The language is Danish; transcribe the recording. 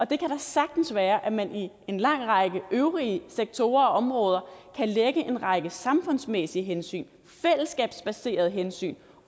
det kan da sagtens være at man i en lang række øvrige sektorer og områder kan lægge en række samfundsmæssige hensyn fællesskabsbaserede hensyn ind